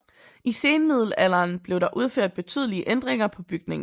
I senmiddelalderen blev der udført betydelige ændringer på bygningen